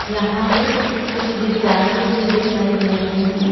यहां पे कुछ विद्यार्थी भी दिखाई दे रहे हैं।